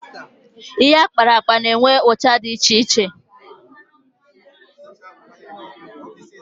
Ihe akparakpa na-enwe ụcha dị iche iche